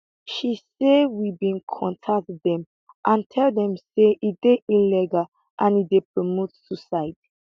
she say we bin contact dem and tell dem say e dey illegal and e dey promote suicide